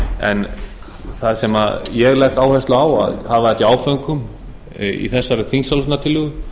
en það sem ég legg áherslu á að hafa þetta í áföngum í þessari þingsályktunartillögu